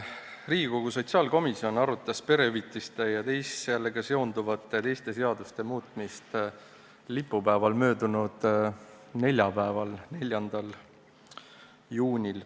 Riigikogu sotsiaalkomisjon arutas perehüvitiste seaduse muutmist ja sellega seonduvalt teiste seaduste muutmist lipupäeval, möödunud neljapäeval, 4. juunil.